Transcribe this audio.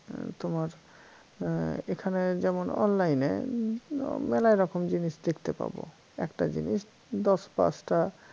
তোমার এর এখানে যেমন online এ মেলা রকম জিনিস দেখতে পাব একটা জিনিস দশ পাঁচটা